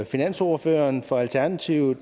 finansordføreren for alternativet